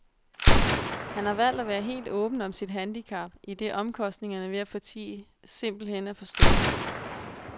Han har valgt at være helt åben om sit handicap, idet omkostningerne ved at fortie simpelthen er for store.